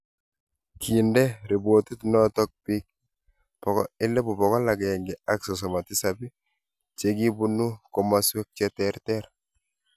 Kinde ripotit noto biik 137,000 che kibunu komaswek che ter ter